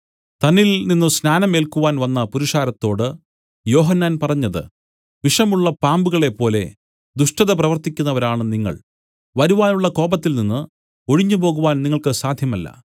തന്നിൽ നിന്നു സ്നാനം ഏൽക്കുവാൻ വന്ന പുരുഷാരത്തോട് യോഹന്നാൻ പറഞ്ഞത് വിഷമുള്ള പാമ്പുകളെ പോലെ ദുഷ്ടത പ്രവർത്തിക്കുന്നവരാണു നിങ്ങൾ വരുവാനുള്ള കോപത്തിൽ നിന്നു ഒഴിഞ്ഞുപോകുവാൻ നിങ്ങൾക്ക് സാധ്യമല്ല